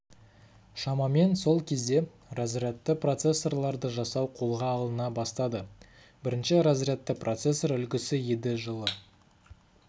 шамамен сол кезде разрядты микропроцессорларды жасау қолға алына бастады бірінші разрядты процессор үлгісі еді жылы